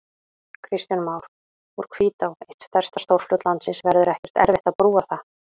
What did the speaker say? Kristján Már: Úr Hvítá, eitt stærsta stórfljót landsins, verður ekkert erfitt að brúa það?